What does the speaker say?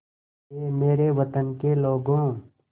ऐ मेरे वतन के लोगों